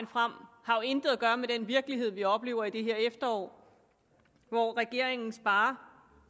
frem har jo intet at gøre med den virkelighed vi oplever i det her efterår hvor regeringen sparer